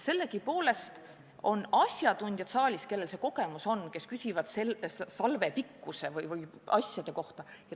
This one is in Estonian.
Sellegipoolest suutis ta vastata asjatundjatele, kellel see kogemus on ja kes küsisid salve pikkuse ja muude asjade kohta.